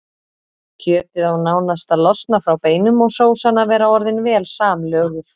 Kjötið á nánast að losna frá beinum og sósan að vera orðin vel samlöguð.